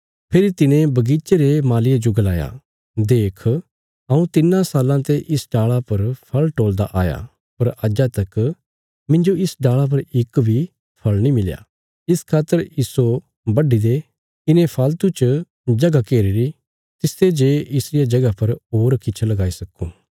फेरी तिने बगीचे रे मालीये जो गलाया देख हऊँ तिन्नां साल्लां ते इस डाल़ा पर फल़ टोलदा आया पर अज्जा तक मिन्जो इस डाल़ा पर इक बी फल़ नीं मिलया इस खातर इस्सो बड्डी दे इने फालतू च जगह घेरीरी तिसते जे इसरिया जगह पर होर किछ लगाई सक्कूं